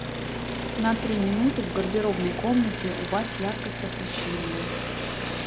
на три минуты в гардеробной комнате убавь яркость освещения